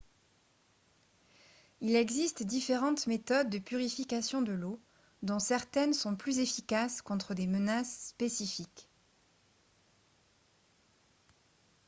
il existe différentes méthodes de purification de l'eau dont certaines sont plus efficaces contre des menaces spécifiques